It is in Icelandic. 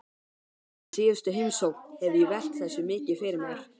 Eftir síðustu heimsókn hef ég velt þessu mikið fyrir mér.